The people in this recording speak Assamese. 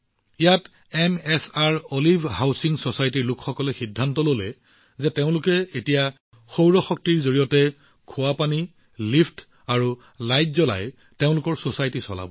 ইয়াত এমএছআৰঅলিভ হাউচিং ছচাইটিৰ লোকসকলে সিদ্ধান্ত লৈছে যে তেওঁলোকে এতিয়া কেৱল সৌৰ শক্তিৰে ছচাইটিত খোৱা পানী লিফ্ট আৰু লাইটৰ দৰে উমৈহতীয়া উপযোগিতাৰ বস্তুবোৰ চলাব